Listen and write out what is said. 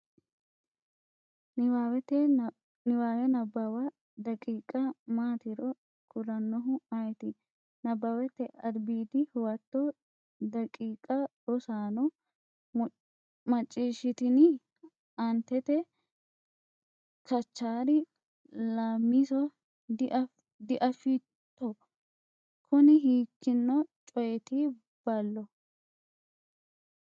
Niwaawe Nabbawa daqiiqa maatiro kulannoehu ayeeti? Nabbawate Albiidi Huwato daqiiqa Rosaano macciishshitini? Aantete, Kachaari, Laammiso diafitto? Kuni hiikkino coyeeti ballo?